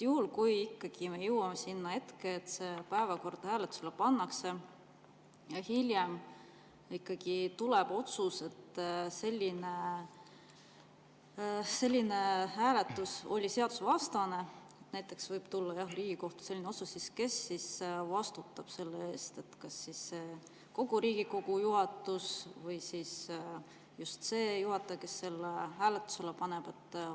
Juhul kui me ikkagi jõuame, et see päevakord pannakse hääletusele, ja hiljem tuleb otsus, et selline hääletus oli seadusevastane, näiteks võib tulla Riigikohtu otsus, siis kes selle eest vastutab: kas kogu Riigikogu juhatus või see juhataja, kes selle hääletusele pani?